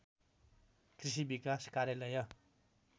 कृषि विकास कार्यालय